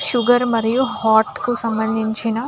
sugar మరియు heart కి సంబందించిన --